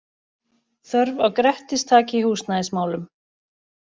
Þörf á Grettistaki í húsnæðismálum